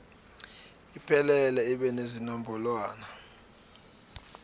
iphelele ibe nezinombolwana